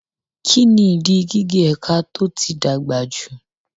Kí ni ìdí gígé ẹ̀ka tó ti dàgbà jù?